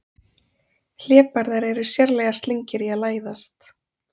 Hlébarðar eru sérlega slyngir í að læðast.